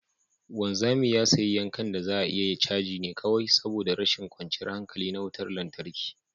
wanzami ya sayi yankan da za a iya caji ne kawai saboda rashin kwanciyar hankali na wutar lantarki